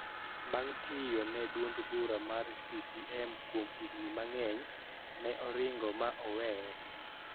Bang` tiyo ne duond bura mar CCM kuom higni mang`eny, ne oringo ma oweye